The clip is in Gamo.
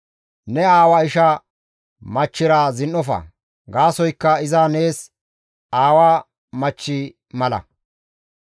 «Ne aawa isha machchira zin7ofa; gaasoykka iza nees aawa machchi mala.